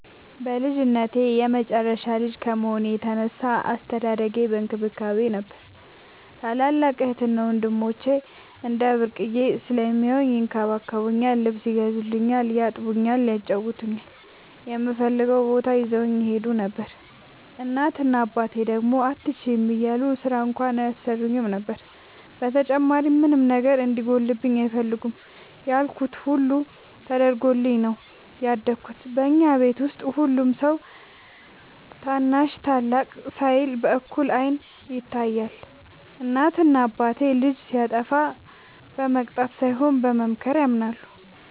በልጅነቴ የመጨረሻ ልጅ ከመሆኔ የተነሳ አስተዳደጌ በእንክብካቤ ነበር። ታላላቅ እህትና ወንድሞቸ እንደ ብርቅየ ስለሚያውኝ ይንከባከቡኛል ,ልብስ ይገዙልኛል ,ያጥቡኛል ,ያጫውቱኛል, እምፈልገውም ቦታ ይዘውኝ ይሄዱ ነበር። እናት እና አባቴ ደግሞ አትችይም እያሉ ስራ እንኳን አያሰሩኝም ነበር። በተጨማሪም ምንም ነገር እንዲጎልብኝ አይፈልጉም ያልኩት ሁሉ ተደርጎልኝ ነው ያደኩት። በኛ ቤት ውስጥ ሁሉም ሰው ታናሽ ታላቅ ሳይል በእኩል አይን ይታያል። እናት እና አባቴ ልጅ ሲያጠፋ በመቅጣት ሳይሆን በመምከር ያምናሉ።